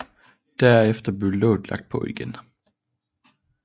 Derefter blev låget lagt på igen